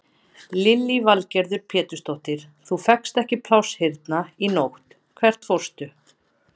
Lillý Valgerður Pétursdóttir: Þú fékkst ekki pláss hérna í nótt, hvert fórstu?